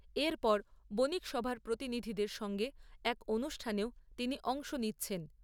এরপর, বণিকসভার প্রতিনিধিদের সঙ্গে এক অনুষ্ঠানেও তিনি অংশ নিচ্ছেন।